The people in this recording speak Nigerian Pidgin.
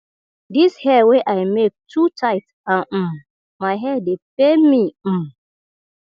dis hair wey i make too tight and um my head dey pain me um